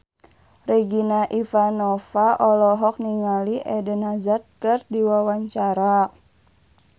Regina Ivanova olohok ningali Eden Hazard keur diwawancara